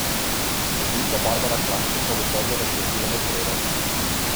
Sodnica Barbara Klajnšek pa bo sodbo razglasila v sredo.